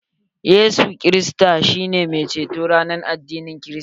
Yesu kristi shi ne mai ceto a addinin krista.